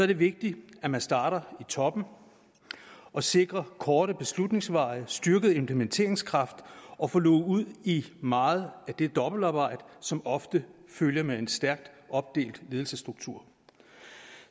det vigtigt at man starter i toppen og sikrer korte beslutningsveje styrket implementeringskraft og at få luget ud i meget af det dobbeltarbejde som ofte følger med en stærkt opdelt ledelsesstruktur